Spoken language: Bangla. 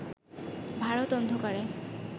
ভারত অন্ধকারে